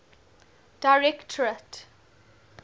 directorate